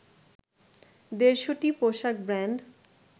দেড়শটি পোশাক ব্রান্ড